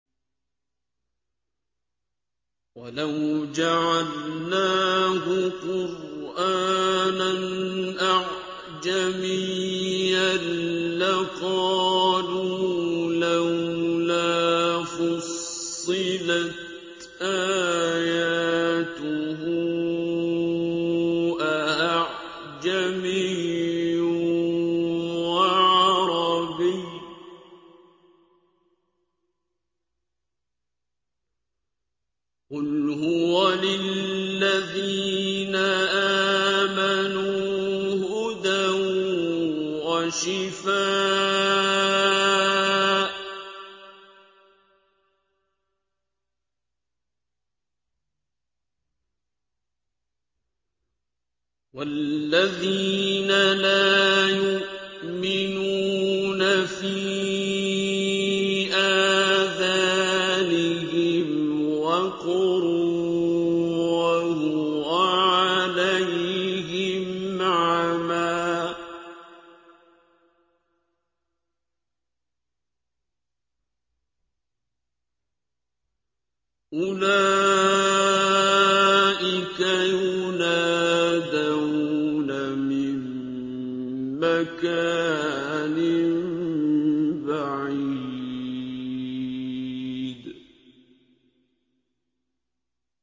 وَلَوْ جَعَلْنَاهُ قُرْآنًا أَعْجَمِيًّا لَّقَالُوا لَوْلَا فُصِّلَتْ آيَاتُهُ ۖ أَأَعْجَمِيٌّ وَعَرَبِيٌّ ۗ قُلْ هُوَ لِلَّذِينَ آمَنُوا هُدًى وَشِفَاءٌ ۖ وَالَّذِينَ لَا يُؤْمِنُونَ فِي آذَانِهِمْ وَقْرٌ وَهُوَ عَلَيْهِمْ عَمًى ۚ أُولَٰئِكَ يُنَادَوْنَ مِن مَّكَانٍ بَعِيدٍ